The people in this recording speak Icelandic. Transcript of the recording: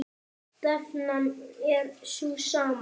Stefnan er sú sama.